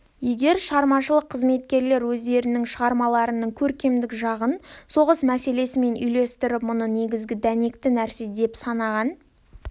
егер шығармашылық қызметкерлер өздерінің шығармаларының көркемдік жағын соғыс мәселесімен үйлестіріп мұны негізгі дәнекті нәрсе деп санаған